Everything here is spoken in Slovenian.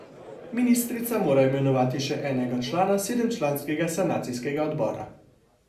Ministrica mora imenovati še enega člana sedemčlanskega sanacijskega odbora.